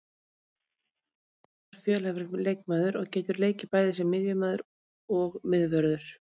Jón Guðni er afar fjölhæfur leikmaður og getur bæði leikið sem miðjumaður og miðvörður.